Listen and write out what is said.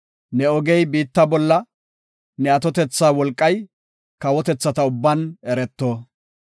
Ne ogey biitta bolla, ne atotetha wolqay, kawotethata ubban ereto.